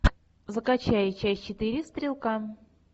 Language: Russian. закачай часть четыре стрелка